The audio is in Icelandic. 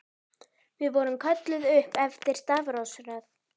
Við vorum kölluð upp eftir stafrófsröð.